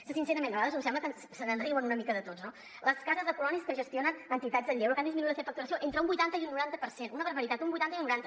sincerament a vegades em sembla que se’n riuen una mica de tots no les cases de colònies que gestionen entitats del lleure que han disminuït la seva facturació entre un vuitanta i un noranta per cent una barbaritat un vuitanta i un noranta